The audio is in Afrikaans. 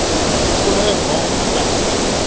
volle naam plek